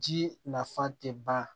Jii nafa tɛ ban